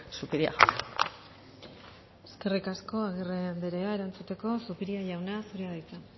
zupiria jauna eskerrik asko agirre anderea erantzuteko zupiria jauna zurea da hitza